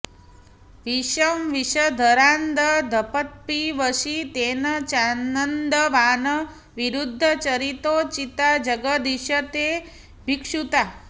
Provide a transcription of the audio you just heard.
विषं विषधरान्दधत्पिबसि तेन चानन्दवान् विरुद्धचरितोचिता जगदधीश ते भिक्षुता